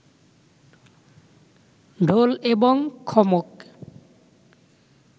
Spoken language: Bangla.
ঢোল এবং খমক